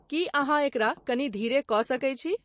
की अहाँएकरा कनि धीरे क सके छी